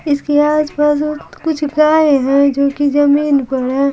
इसके आसपास कुछ गाय है जो कि जमीन पर है।